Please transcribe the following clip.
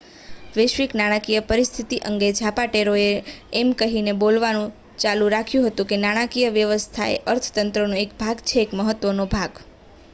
"વૈશ્વિક નાણાકીય પરીસ્થિતિ અંગે ઝાપાટેરોએ એમ કહીને બોલવાનું ચાલુ રાખ્યું હતું કે નાણાકીય વ્યવસ્થા એ અર્થતંત્રનો એક ભાગ છે એક મહત્વનો ભાગ.